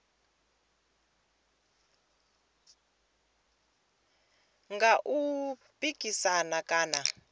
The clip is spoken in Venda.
nga u tou pikisana kana